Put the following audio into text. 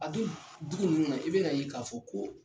A dun dugu nunnu na i bɛn'a ye k'a fɔ ko